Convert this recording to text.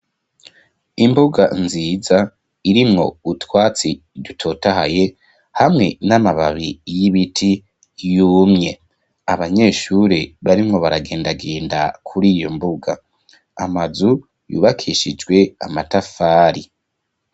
Imbuga nziza, irimwo utwatsi dutotahaye, hamwe n'amababi, y'ibiti yumye; abanyeshure, barimwo baragendagenda, kuri iyo mbuga; amazu yubakishijwe, amatafari.